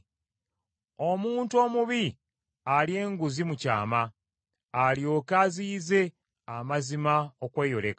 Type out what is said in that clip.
Omuntu omubi alya enguzi mu kyama, alyoke aziyize amazima okweyoleka.